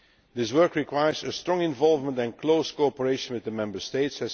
This work requires strong involvement and close cooperation with the Member States.